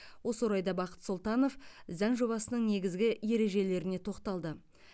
осы орайда бақыт сұлтанов заң жобасының негізгі ережелеріне тоқталды